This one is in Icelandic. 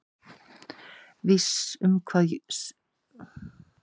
Viss um hvað, sagði Jón Ólafur forvitinn.